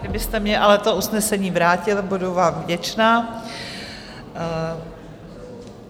Kdybyste mně ale to usnesení vrátil, budu vám vděčna.